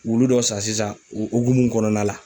Wulu dɔ san sisan, o hokumu kɔnɔna la